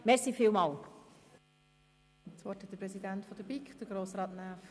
Das Wort hat der Präsident der BiK, Grossrat Näf.